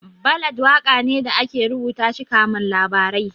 Ballad waƙa ne da ake rubuta shi kaman labarai